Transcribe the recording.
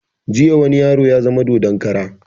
Jiya wani yaro ya zama dodon kara